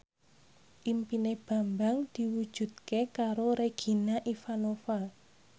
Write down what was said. impine Bambang diwujudke karo Regina Ivanova